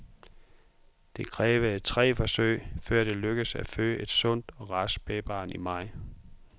Det krævede tre forsøg, før det lykkedes at føde et sundt og rask spædbarn i maj.